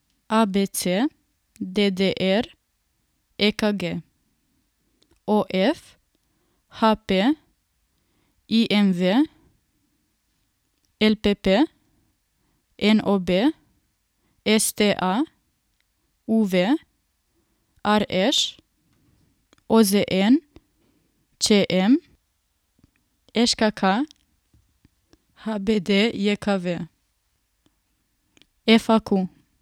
A B C; D D R; E K G; O F; H P; I M V; L P P; N O B; S T A; U V; R Š; O Z N; Č M; Ž K K; H B D J K V; F A Q.